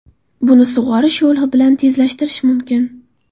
Buni sug‘orish yo‘li bilan tezlashtirish mumkin.